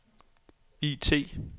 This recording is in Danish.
IT